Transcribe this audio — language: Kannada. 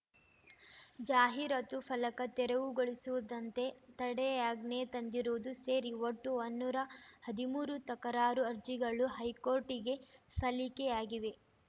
ಜಾಹೀರಾತು ಫಲಕ ತೆರವುಗೊಳಿಸುವುದಂತೆ ತಡೆಯಾಜ್ಞೆ ತಂದಿರುವುದು ಸೇರಿ ಒಟ್ಟು ವನ್ನೂರ ಹದಿಮೂರು ತಕರಾರು ಅರ್ಜಿಗಳು ಹೈಕೋರ್ಟಿಗೆ ಸಲ್ಲಿಕೆಯಾಗಿವೆ